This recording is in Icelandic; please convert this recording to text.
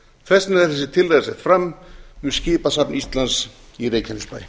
þess vegna er þessi tillaga sett fram um skipasafn íslands í reykjanesbær